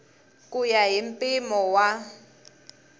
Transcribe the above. ku ya hi mpimo wa